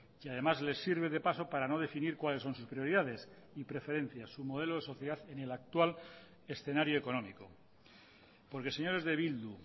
y además les sirve de paso para no definir cuáles son sus prioridades y preferencias su modelo de sociedad en el actual escenario económico porque señores de bildu